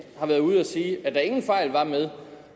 har været ude at sige at der ingen fejl var med